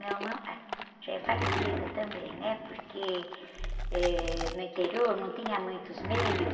Meu irmão, ah, já é falecido também, porque, eh, no interior não tinha muitos meios.